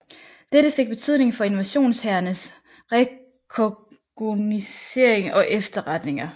Dette fik betydning for invasionshærens rekognoscering og efterretninger